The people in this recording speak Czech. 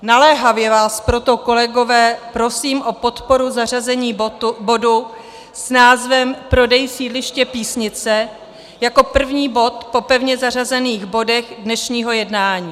Naléhavě vás proto, kolegové, prosím o podporu zařazení bodu s názvem Prodej sídliště Písnice jako první bod po pevně zařazených bodech dnešního jednání.